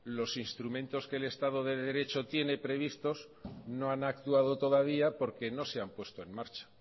los instrumentos que el estado de derecho tienen previstos no han actuado todavía porque no se han puesto en marcha